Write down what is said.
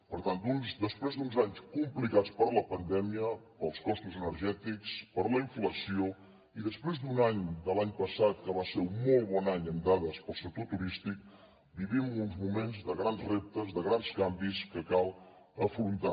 per tant després d’uns anys complicats per la pandèmia pels costos energètics per la inflació i després d’un any de l’any passat que va ser un molt bon any amb dades per al sector turístic vivim uns moments de grans reptes de grans canvis que cal afrontar